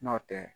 Nɔntɛ